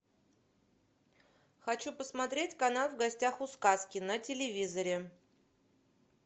хочу посмотреть канал в гостях у сказки на телевизоре